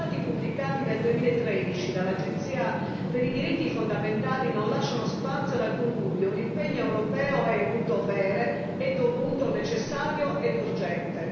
I dati pubblicati nel 2013 dall'Agenzia per i diritti fondamentali non lasciano spazio ad alcun dubbio un impegno europeo è un dovere, è dovuto, necessario ed urgente.